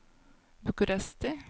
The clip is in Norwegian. Bucuresti